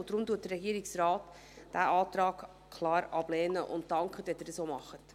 Deshalb lehnt der Regierungsrat diesen Antrag klar ab und dankt Ihnen, wenn Sie dies ebenfalls tun.